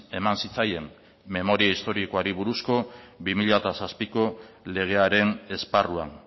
eman zitzaien memoria historikoari buruzko bi mila zazpiko legearen esparruan